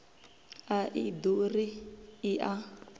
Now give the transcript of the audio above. a i ḓuri i a